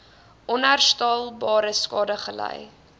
onherstelbare skade gely